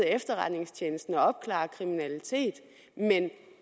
efterretningstjenesten at opklare kriminalitet men